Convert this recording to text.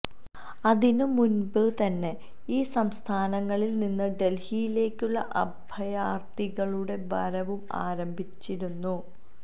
അതിനു മുൻപേതന്നെ ഈ സംസ്ഥാനങ്ങളിൽ നിന്ന് ഡൽഹിയിലേക്കുള്ള അഭയാർഥികളുടെ വരവും ആരംഭിച്ചിരുന്നു